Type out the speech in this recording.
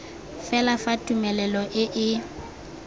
fela fa tumelelo e e